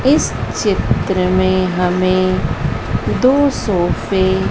इस चित्र मैं हमे दो सोफे --